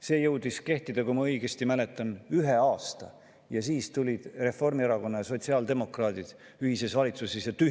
See jõudis kehtida, kui ma õigesti mäletan, ühe aasta ja siis tuli Reformierakonna ja sotsiaaldemokraatide ühine valitsus ja tühistas selle.